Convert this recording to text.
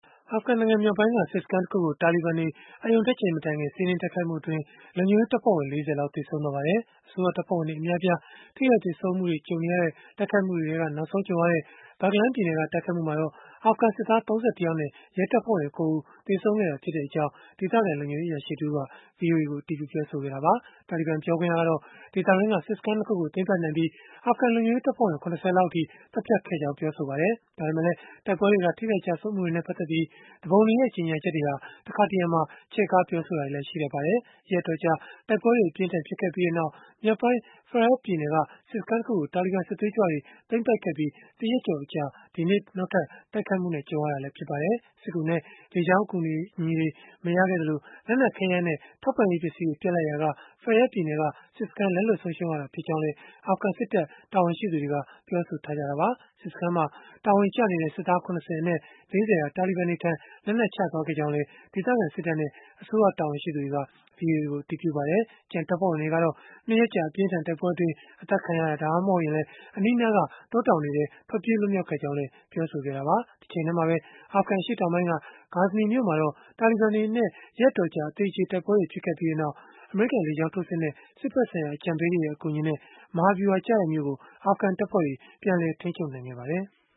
အာဖဂန်နိုင်ငံ မြောက်ပိုင်းက စစ်စခန်းတခုကို တာလီဘန်တွေက အရုဏ်တက်ချိန် မတိုင်ခင် စီးနင်းတိုက်ခိုက်မှုအတွင်း လုံခြုံရေး တပ်ဖွဲ့ဝင် ၄၀ လောက် သေဆုံးသွား ပါတယ်။ အစိုးရတပ်ဖွဲ့ဝင်တွေ အများအပြား ထိခိုက်သေဆုံးမှုတွေ ကြုံနေရတဲ့အထဲက နောက်ဆုံးကြုံခဲ့ရတဲ့ Baghlan ပြည်နယ်က တိုက်ခိုက်မှုအတွင်း အာဖဂန်စစ်သား ၃၁ ယောက်နဲ့ ရဲတပ်ဖွဲ့ဝင် ၉ ဦး သေဆုံးခဲ့ကြောင်း ဒေသခံလုံခြုံရေး အရာရှိ တဦးက ဗွီအိုအေကို အတည်ပြုပြောဆိုခဲ့တာပါ။ တာလီဘန် ပြောခွင့်ရကတော့ ဒေသတွင်းက စစ်စခန်း ၂ ခုကို သိမ်းပိုက်နိုင်ခဲ့ပြီး၊ အာဖဂန် လုံခြုံရေးတပ်ဖွဲ့ဝင် ၇၀ လောက်အထိ သတ်ဖြတ်ခဲ့ကြောင်း ပြောဆိုခဲ့ပါတယ်။ ဒါပေမဲ့လည်း တိုက်ပွဲတွေက ထိခိုက်ကျဆုံးမှုတွေနဲ့ ပတ်သက်လို့ သူပုန်တွေရဲ့ ကြေညာချက်တွေမှာ တခါတရံ ချဲ့ကားပြောဆိုတာတွေလည်း ရှိတတ်ပါတယ်။ ရက်အတော်ကြာ တိုက်ပွဲတွေ အပြင်းအထန် ဖြစ်ခဲ့ပြီးနောက် မြောက်ပိုင်း Faryab ပြည်နယ်က စစ်စခန်းတခုကို တာလီဘန်စစ်သွေးကြွတွေ သိမ်းပိုက်ခဲ့ပြီး တရက်ကျော် အကြာမှာပဲ ဒီနေ့နောက်ထပ် တိုက်ခိုက်မှုနဲ့ ကြုံခဲ့ရတာလည်း ဖြစ်ပါတယ်။ စစ်ကူနဲ့ လေကြောင်း အကူအညီတွေမရခဲ့ကြသလို၊ လက်နက်ခဲယမ်းနဲ့ ထောက်ပံ့ရေး ပစ္စည်းတွေ ပြတ်လပ်ရာက Faryab ပြည်နယ်က စစ်စခန်း လက်လွတ်ဆုံးရှုံးခဲ့ရတာ ဖြစ်ကြောင်းလည်း အာဖဂန်စစ်တပ် တာဝန်ရှိသူတွေက ပြောဆိုခဲ့ကြတာပါ။ စစ်စခန်းမှာ တာဝန်ကျနေတဲ့ စစ်သား ၇၀ အနက် ၄၀ ဟာ တာလီဘန်တွေထံ လက်နက်ချသွားခဲ့ကြောင်းလည်း ဒေသခံစစ်တပ်နဲ့ အစိုးရ တာဝန်ရှိသူတွေက ဗွီအိုအေကို အတည်ပြုခဲ့ပါတယ်။ ကျန်တပ်ဖွဲ့ဝင်တွေကတော့ ၂ ရက်ကြာ အပြင်းအထန် တိုက်ပွဲအတွင်း အသတ်ခံရတာ၊ ဒါမှမဟုတ် အနီးအနားက တောတောင်တွေထဲ ထွက်ပြေး လွတ်မြောက်ခဲ့ကြကြောင်းလည်း ပြောဆိုခဲ့တာပါ။ တချိန်တည်းမှာပဲ အာဖဂန် အရှေ့တောင်ပိုင်းက Ghazni မြို့မှာတော့ တာလီဘန်တွေနဲ့ ရက်အတော်ကြာ အသေအကျေ တိုက်ပွဲတွေ ဖြစ်ခဲ့ပြီးနောက် အမေရိကန် လေကြောင်းထိုးစစ်နဲ့ စစ်ဘက်ဆိုင်ရာ အကြံပေးတွေရဲ့ အကူအညီနဲ့ မဟာဗျုဟာကျတဲ့မြို့ကို အာဖဂန်တပ်ဖွဲ့တွေ ပြန်လည်ထိန်းချုပ်နိုင်ခဲ့ပါတယ်။